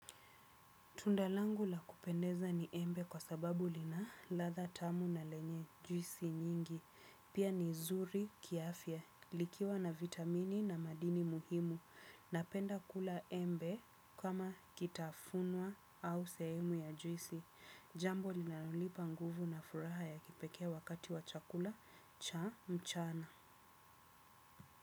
Tunda langu la kupendeza ni embe kwa sababu lina ladha tamu na lenye juisi nyingi. Pia ni zuri kiafya. Likiwa na vitamini na madini muhimu. Napenda kula embe kama kitafunwa au sehemu ya juisi. Jambo linalonipa nguvu na furaha ya kipekee wakati wa chakula cha mchana.